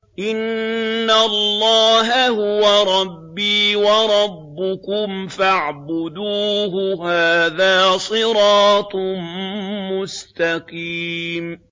إِنَّ اللَّهَ هُوَ رَبِّي وَرَبُّكُمْ فَاعْبُدُوهُ ۚ هَٰذَا صِرَاطٌ مُّسْتَقِيمٌ